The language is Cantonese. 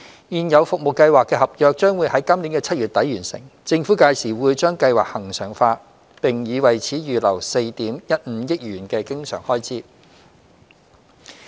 現有服務計劃的合約將於今年7月底完成。政府屆時會將計劃恆常化，並已為此預留4億 1,500 萬元的經常開支。